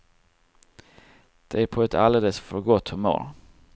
De är på ett alldeles för gott humör.